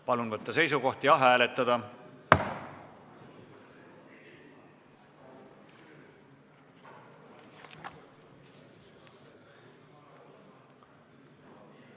Palun võtta seisukoht ja hääletada!